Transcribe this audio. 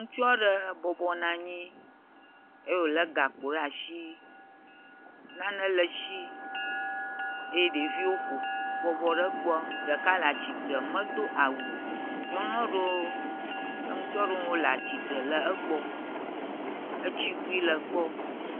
Ŋutsua re ebɔbɔ nɔanyii eye wòlé gakpo re ashii. Nane le eshii eye ɖeviwo ƒo ƒ bɔbɔ re egbɔ. Ɖeka le atsitre medo awu o. Nyɔnua rewo kple ŋutsua rewo wole atsitre le egbɔ. Etsigui le egbɔ.